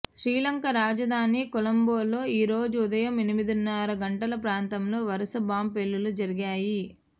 శ్రీలంక రాజధాని కొలంబోలో ఈరోజు ఉదయం ఎనిమిదిన్నర గంటల ప్రాంతంలో వరుస బాంబ్ పేలుళ్లు జరిగాయి